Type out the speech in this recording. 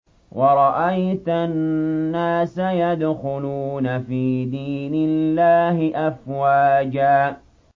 وَرَأَيْتَ النَّاسَ يَدْخُلُونَ فِي دِينِ اللَّهِ أَفْوَاجًا